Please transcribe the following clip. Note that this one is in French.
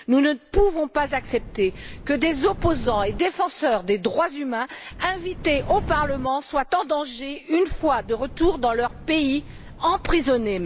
Nous ne pouvons pas accepter que des opposants et défenseurs des droits humains, invités au Parlement, soient en danger une fois de retour dans leur pays, voire emprisonnés.